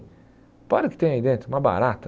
aí dentro, uma barata.